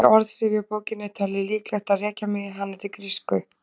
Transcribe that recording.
Í orðsifjabókinni er talið líklegt að rekja megi hana til grísku.